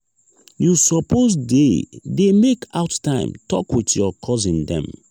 you suppose dey dey make out time tok wit your cousin dem.